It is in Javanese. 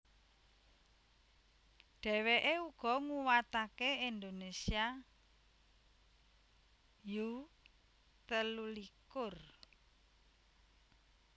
Dheweke uga nguwatake Indonesia U telulikur